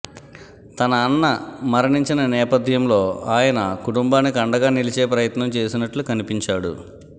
తన అన్న మరణించిన నేపథ్యంలో ఆయన కుటుంబానికి అండగా నిలిచే ప్రయత్నం చేసినట్లు కనిపించాడు